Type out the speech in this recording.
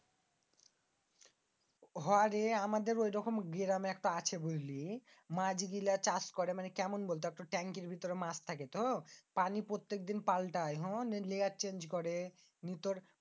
হ রে আমাদের ঐরকম গ্রামে আছে বুঝলি? মাছ গিলা চাষ করে কেমন বলত? মানি ট্রেংকির বিতরে মাছ থাকে তো প্রত্যেকদিন পালটায় Change করে বিতরে